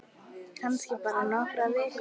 Kannski bara nokkrar vikur.